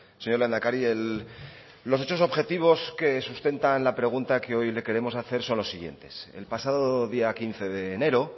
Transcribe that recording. señor lehendakari los hechos objetivos que sustentan la pregunta que hoy le queremos hacer son los siguientes el pasado día quince de enero